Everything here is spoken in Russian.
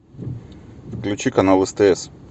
включи канал стс